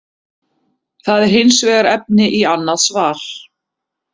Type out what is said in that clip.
Það er hins vegar efni í annað svar.